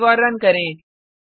save और run करें